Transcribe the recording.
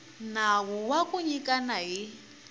nawu wa ku nyikana hi